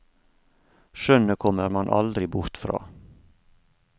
Skjønnet kommer man aldri bort fra.